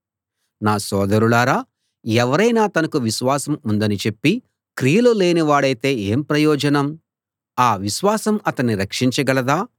నా సోదరులారా ఎవరైనా తనకు విశ్వాసం ఉందని చెప్పి క్రియలు లేనివాడైతే ఏం ప్రయోజనం ఆ విశ్వాసం అతన్ని రక్షించగలదా